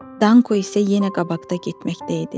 Danko isə yenə qabaqda getməkdə idi.